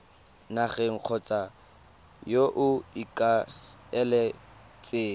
nageng kgotsa yo o ikaeletseng